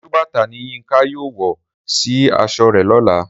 Sálúbàtà ni Yínka yóò wọ sì aṣọ rẹ̀ lọ́la